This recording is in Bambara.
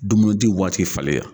Dumunidi waati faleya.